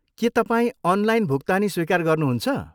के तपाईँ अनलाइन भुक्तानी स्वीकार गर्नुहुन्छ?